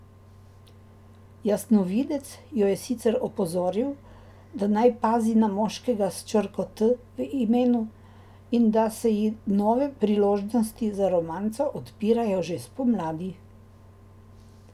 Jasnovidec jo je sicer opozoril, da naj pazi na moškega s črko T v imenu in da se ji nove priložnosti za romanco odpirajo že spomladi.